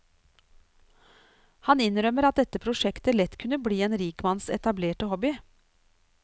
Han innrømmer at dette prosjektet lett kunne bli en rikmanns etablerte hobby.